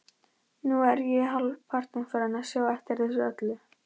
Nú er ég hálfpartinn farinn að sjá eftir þessu öllu.